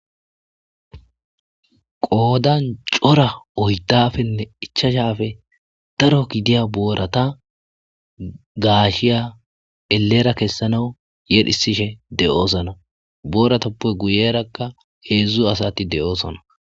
Qoodan cora oydafenne ichashafe daro gidiya boorata gaashiya elera kessanawu yedhisishe de7oosona booratappe guyerakka heedzdzu asati de,oosona.